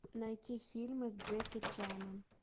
найти фильмы с джеки чаном